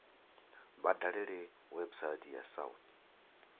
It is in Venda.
vha dalele website ya south